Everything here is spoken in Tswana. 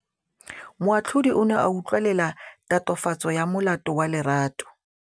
Moatlhodi o ne a utlwelela tatofatsô ya molato wa Lerato.